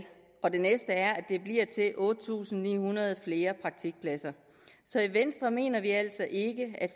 og det næste er at det bliver til otte tusind ni hundrede flere praktikpladser så i venstre mener vi altså ikke at